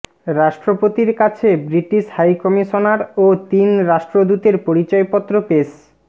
রাষ্ট্রপতির কাছে British high commissioner ও তিন রাষ্ট্রদূতের পরিচয়পত্র পেশ